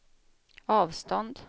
avstånd